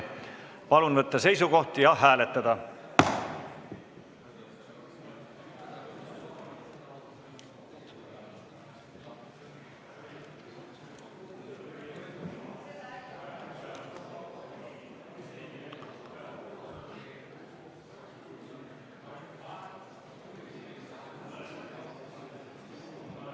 Palun võtta seisukoht ja hääletada!